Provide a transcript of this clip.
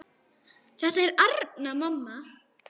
Þetta er Arnar, mamma!